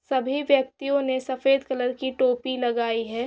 सभी व्यक्तियो ने सफेद कलर की टोपी लगाई है।